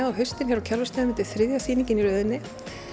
á haustin á Kjarvalsstöðum þetta er þriðja sýningin í röðinni